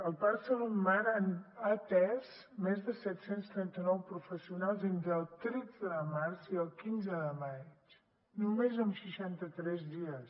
el parc de salut mar ha atès més de set cents i trenta nou professionals entre el tretze de març i el quinze de maig només amb seixanta tres dies